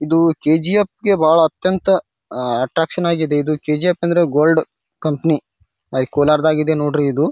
ಇದು ಕೇ.ಜಿ.ಫ್. ಗೆ ಬಹಳ ಅತ್ಯಂತ ಅಹ್ ಅಟ್ರಾಕ್ಷನ್ ಆಗಿದೆ ಇದು ಕೇ.ಜಿ.ಫ್. ಅಂದ್ರೆ ಗೋಲ್ಡ್ ಕಂಪನಿ ಅಲ ಕೋಲಾರ್ ದಾಗ ಇದೆ ನೋಡ್ರಿ ಇದು.